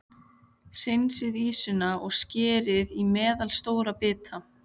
Hreinsið ýsuna og skerið í meðalstóra bita.